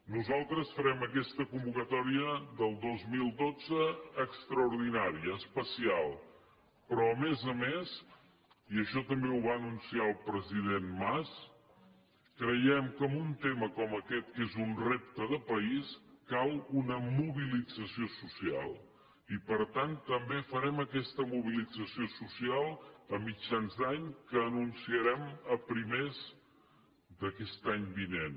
nosaltres farem aquesta convocatòria del dos mil dotze extraordinària especial però a més a més i això també ho va anunciar el president mas creiem que en un tema com aquest que és un repte de país cal una mobilització social i per tant també farem aquesta mobilització social a mitjans d’any que anunciarem a primers d’aquest any vinent